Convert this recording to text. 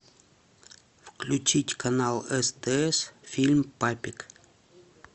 включить канал стс фильм папик